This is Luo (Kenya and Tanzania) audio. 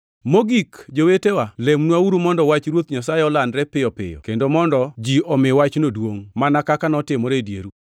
Mogik, jowetewa, lemnwauru mondo Wach Ruoth Yesu olandre piyo piyo kendo mondo ji omi wachno duongʼ, mana kaka notimore e dieru.